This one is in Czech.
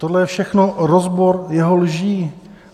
Tohle je všechno rozbor jeho lží.